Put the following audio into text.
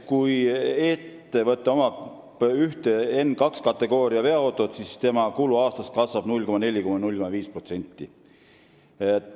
Kui ettevõttel on üks N2 kategooria veoauto, siis kasvab tema kulu aastas 0,4–0,5%.